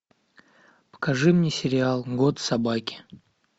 покажи мне сериал год собаки